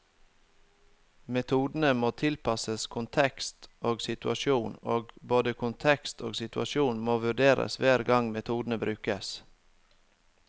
Metodene må tilpasses kontekst og situasjon, og både kontekst og situasjon må vurderes hver gang metodene brukes.